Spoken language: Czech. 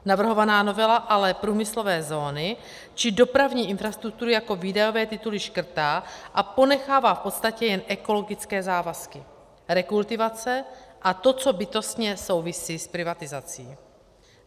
Navrhovaná novela ale průmyslové zóny či dopravní infrastrukturu jako výdajové tituly škrtá a ponechává v podstatě jen ekologické závazky, rekultivace a to, co bytostně souvisí s privatizací.